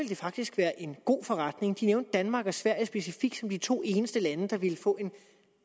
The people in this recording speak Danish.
det faktisk være en god forretning de nævnte danmark og sverige specifikt som de to eneste lande der ville få